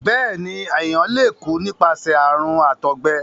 béèni èyán lẹ kú nípasẹ àrùn àtọgbẹ.